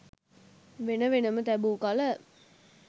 වෙන වෙනම තැබූ කල